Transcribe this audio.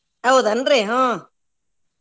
ಹೌದೇನ್ರಿ ಹ್ಮ್ .